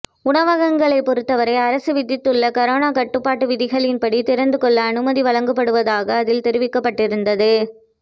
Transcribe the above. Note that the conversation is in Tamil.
உணவகங்களைப் பொருத்த வரை அரசு விதித்துள்ள கரோனா கட்டுப்பாட்டு விதிகளின்படி திறந்துகொள்ள அனுமதி வழங்கப்படுவதாக அதில் தெரிவிக்கப்பட்டிருந்தது